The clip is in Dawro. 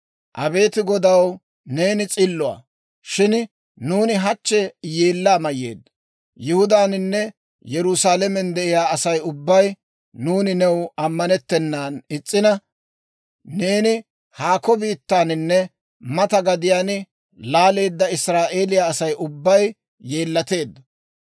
«Abeet Godaw, neeni s'illuwaa; shin nuuni hachchi yeellaa mayyeeddo. Yihudaaninne Yerusaalamen de'iyaa Asay ubbay, nuuni new ammanettennan is's'ina, neeni haako biittaaninne mata gadiyaan laaleedda Israa'eeliyaa Asay ubbay yeellateeddo.